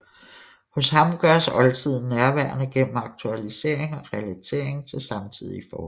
Hos ham gøres oldtiden nærværende gennem aktualisering og relatering til samtidige forhold